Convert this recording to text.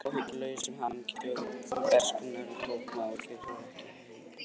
Lokið var áhyggjulausum hamingjudögum bernskunnar og við tóku áhyggjur sem ekki voru af heimi barna.